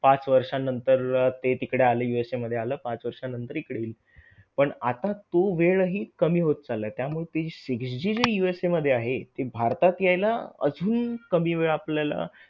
पाच वर्षांनंतर ते तिकडे आलं USA मध्ये आलं पाच वर्षांनंतर इकडे येईल. पण आता तो वेळ हि कमी होत चालला आहे. त्यामुळे ते six G जर USA मध्ये आहे ते भारतात यायला अजून कमी वेळ आपल्याला